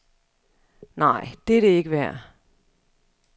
Nej, det er det ikke værd.